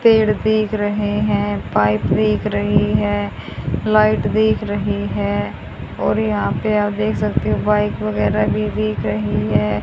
पेड़ दिख रहे हैं पाईप दिख रही हैं लाइट दिख रही है और यहां पे आप देख सकते हो बाइक वगैरह भी दिख रही है।